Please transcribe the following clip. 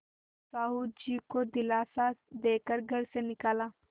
साहु जी को दिलासा दे कर घर से निकाला